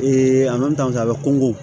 a bɛ kɔngɔ